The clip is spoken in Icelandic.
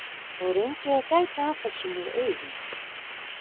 Og reyndi að gæta að þessu með augun.